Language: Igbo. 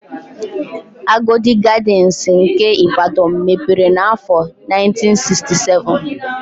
Agodi Gadịnsị nke Ịbadọn mepere n'áfọ̀ 1967.